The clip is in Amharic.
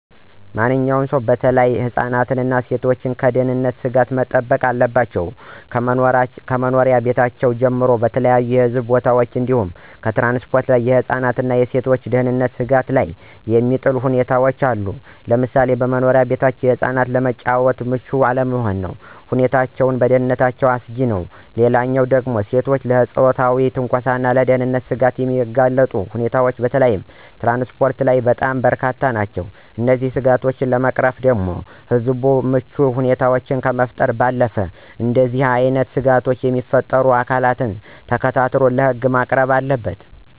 ማንኛውም ሰው በተለይ ህፃናት እና ሴቶች ከደህንነት ስጋቶች መጠበቅ አለባቸው። ከመኖሪያ ቤታችን ጀምሮ በተለያዩ ህዝብ ቦታዎች እንዲሁም ትራንስፖርት ላይ የህፃናትን እና የሴቶችን ደህንነት ስጋት ላይ የሚጥሉ ሁኔታዎች አሉ፤ ለምሳሌ በመኖሪያ ቤታችን ህፃናት ለመጫወት ምቹ ያልሆኑ ሁኔታዎች ለደህንነታቸው አስጊ ነው። ሌላው ደግሞ ሴቶችን ለፆታዊ ትንኮሳና ለደህንነት ስጋት የሚያጋልጡ ሁኔታዎች በተለይ ትራንስፖርት ላይ በጣም በርካታ ነው። እነዚህን ስጋቶች ለመቅረፍ ህብረተሰቡ ምቹ ሁኔታዎችን ከመፍጠር ባለፈ እንደዚህ አይነት ስጋቶችን የሚፈጥሩ አካላትን ተከታትሎ ለህግ ማቅረብ አለበት።